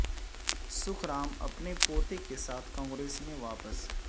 سکھ رام اپنے پوتے کے ساتھ کانگریس میں واپس